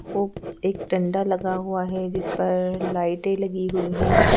और एक डंडा लगा हुआ है जिस पर लाइटें लगी हुई हैं।